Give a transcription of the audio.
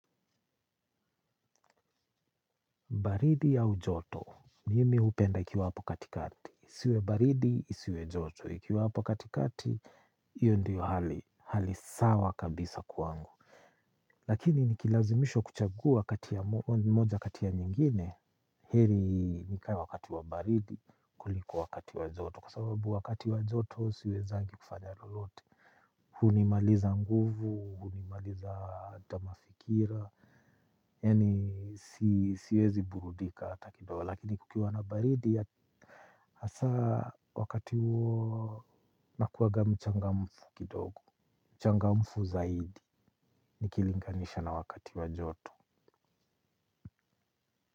Baridi au ujoto, nimi hupenda ikiwa hapo katikati. Isiwe baridi, isiwe joto, ikiwa hapo katikati, hiyo ndiyo hali sawa kabisa kwangu. Lakini nikilazimishwa kuchagua moja kati ya nyingine. Heri nikae wakati wa baridi kuliko wakati wa joto. Kwa sababu wakati wa joto, siwezangi kufanya lolote. Hunimaliza nguvu, hunimaliza hata mafikira. Yaani siwezi burudika hata kidogo lakini kukiwa na baridi hasaa wakati huo nakuwanga mchangamfu kidogo, mchangamfu zaidi nikilinganisha na wakati wa joto.